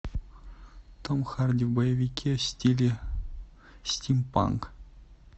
том харди в боевике в стиле стимпанк